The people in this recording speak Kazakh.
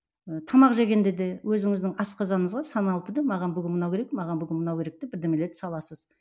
ы тамақ жегенде де өзіңіздің асқазаныңызға саналы түрде маған бүгін мынау керек маған бүгін мынау керек деп бірдемелерді саласыз